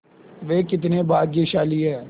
वे कितने भाग्यशाली हैं